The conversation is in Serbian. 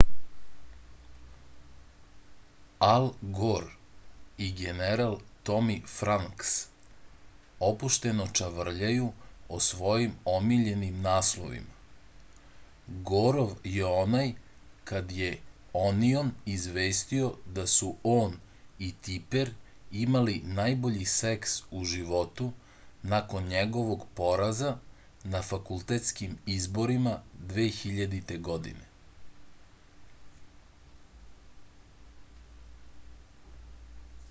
al gor i general tomi franks opušteno čavrljaju o svojim omiljenim naslovima gorov je onaj kad je onion izvestio da su on i tiper imali najbolji seks u životu nakon njegovog poraza na fakultetskim izborima 2000. godine